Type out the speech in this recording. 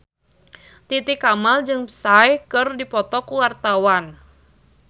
Titi Kamal jeung Psy keur dipoto ku wartawan